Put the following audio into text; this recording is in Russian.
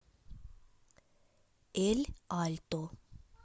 эль альто